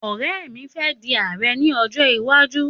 Ọ̀rẹ́ mi fe di ààrẹ ni ọjọ́ iwájú